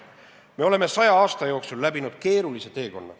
Me oleme 100 aasta jooksul läbinud keerulise teekonna.